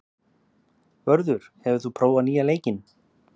Vörður, hefur þú prófað nýja leikinn?